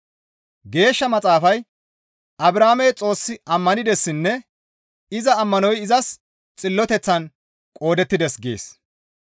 Geeshsha Maxaafay, «Abrahaamey Xoos ammanidessinne iza ammanoy izas xilloteththan qoodettides» gees.